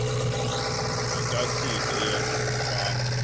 makasinde yena umfana